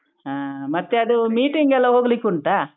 ಹಾ ಮತ್ತೆ ಅದು meeting ಎಲ್ಲಾ ಹೋಗ್ಲಿಕುಂಟಾ.